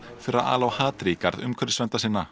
fyrir að ala á hatri í garð umhverfisverndarsinna